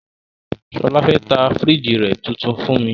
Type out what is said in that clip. Shola fe ta firigi rẹ fun mi